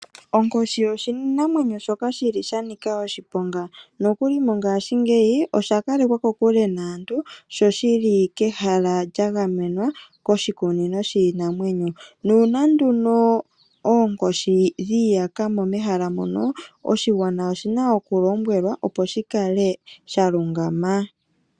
Onkoshi oshinamwenyo shoka shi li sha nika oshiponga nokuli mongaashingeyi osha kalekwa kokule naantu sho shi li kehala lya gamenwa koshikunino shiinamwenyo nuuna nduno oonkoshi dhi iyaka mo mehala mono, oshigwana oshina okulombwelwa opo shi kale sha lungama.